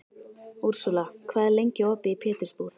Úrsúla, hvað er lengi opið í Pétursbúð?